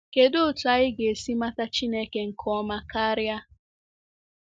Kedụ otú anyị ga-esi mata Chineke nke ọma karịa?